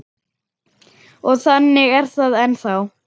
Og þannig er það ennþá.